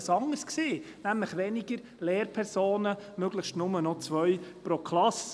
Das Ziel war dort ein anderes, nämlich weniger Lehrpersonen, möglichst nur noch zwei pro Klasse.